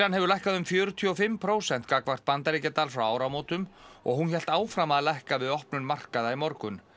hefur lækkað um fjörutíu og fimm prósent gagnvart bandaríkjadal frá áramótum og hún hélt áfram að lækka við opnun markaða í morgun